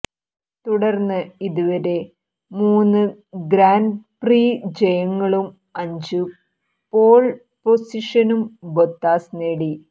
തുടർന്ന് ഇതുവരെ മൂന്നു ഗ്രാൻപ്രി ജയങ്ങളും അഞ്ചു പോൾ പൊസിഷനും ബൊത്താസ് നേടി